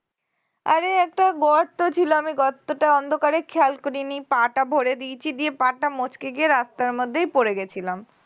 আরে একটা গর্ত ছিল আমি গর্তটা অন্ধকারে খেয়াল করিনি পা টা ভরে দিয়েছি দিয়ে পা টা মচকে গিয়ে রাস্তার মধ্যেই পড়ে গেছিলাম